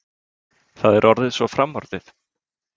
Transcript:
Það er orðið svo framorðið.